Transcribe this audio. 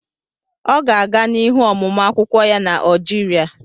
Ọ ga-aga n'ihu ọmụmụ akwukwo ya na Algeria